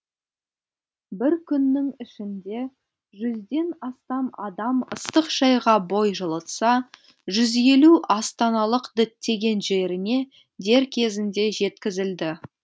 бір күннің ішінде жүзден астам адам ыстық шайға бой жылытса жүз елу астаналық діттеген жеріне дер кезінде жеткізілді